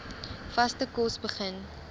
vaste kos begin